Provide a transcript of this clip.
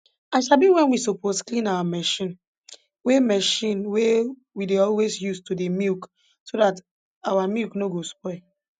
i sabi wen we suppose clean our machine wey machine wey we dey always use to dey milk so dat our milk no go spoil